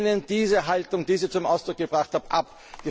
Wir lehnen diese Haltung, die Sie zum Ausdruck gebracht haben, ab!